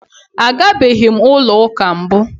A gabeghị ụlọ ụka mbụ.